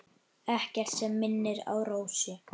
Ekkert sem minnir á Rósu.